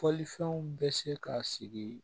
Fɔlifɛnw bɛ se ka sigi